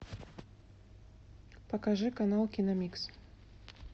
покажи канал киномикс